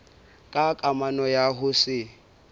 ka kamano ya ho se